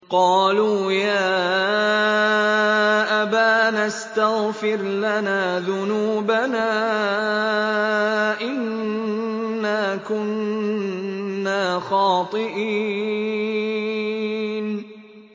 قَالُوا يَا أَبَانَا اسْتَغْفِرْ لَنَا ذُنُوبَنَا إِنَّا كُنَّا خَاطِئِينَ